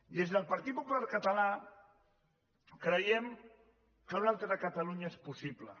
des del partit popular català creiem que una altra catalunya és possible